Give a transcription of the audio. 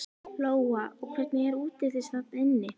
Lóa: Og hvernig er útlits þarna inni?